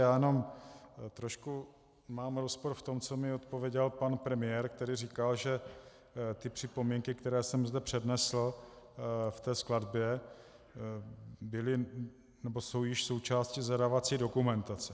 Já jenom trošku mám rozpor v tom, co mi odpověděl pan premiér, který říkal, že ty připomínky, které jsem zde přednesl v té skladbě, jsou již součástí zadávací dokumentace.